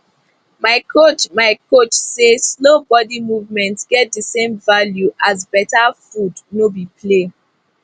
my coach my coach say slow body movement get the same value as better um food no be play